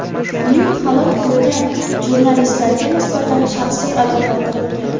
Uning halok bo‘lgan jurnalistlarga nisbatan shaxsiy adovati bo‘lgan.